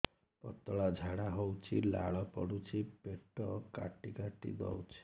ପତଳା ଝାଡା ହଉଛି ଲାଳ ପଡୁଛି ପେଟ କାଟି କାଟି ଦଉଚି